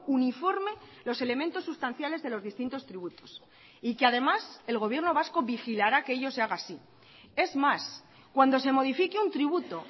uniforme los elementos sustanciales de los distintos tributos y que además el gobierno vasco vigilará que ello se haga así es más cuando se modifique un tributo